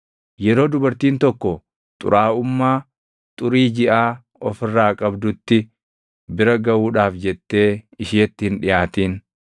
“ ‘Yeroo dubartiin tokko xuraaʼummaa xurii jiʼaa of irraa qabdutti, bira gaʼuudhaaf jettee isheetti hin dhiʼaatin.